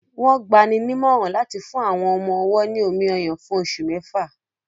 Wọ́n gbani nímọ̀ràn láti fún àwọn ọmọ-ọwọ́ ní omi-ọyàn fún oṣù mẹ́fà